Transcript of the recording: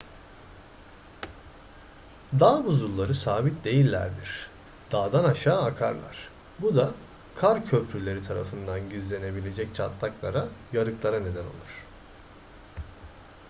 dağ buzulları sabit değillerdir dağdan aşağı akarlar bu da kar köprüleri tarafından gizlenebilecek çatlaklara yarıklara neden olur